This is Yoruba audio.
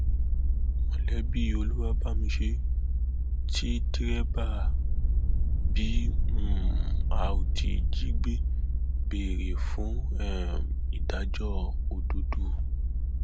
olùbàdàn yóò gbàlejò òsínbàjò tìnùbù àtàwọn ọmọ yorùbá mi